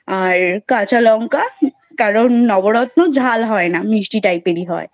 আর কাঁচা লংকা কারণ নবরত্ন ঝাল হয় না মিষ্টি type এর হয়,